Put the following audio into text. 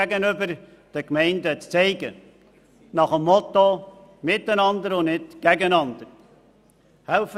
Man soll den Gemeinden zeigen, dass das Miteinander und nicht das Gegeneinander zählt.